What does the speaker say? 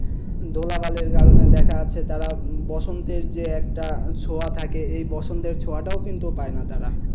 ধুলা বালির কারণে দেখা যাচ্ছে তারা বসন্তের যে একটা ছোঁয়া থাকে এই বসন্তের ছোঁয়াটাও কিন্তু পায়না তারা।